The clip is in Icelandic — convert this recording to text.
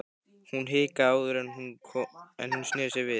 Hún hikaði áður en hún sneri sér við.